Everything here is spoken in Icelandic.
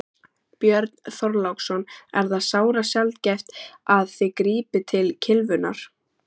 Björn Þorláksson: Er það sárasjaldgæft að þið grípið til kylfunnar?